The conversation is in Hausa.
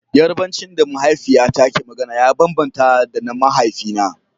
Yarbanci da mahaifiyata ke magana ya bambanta da na mahaifina.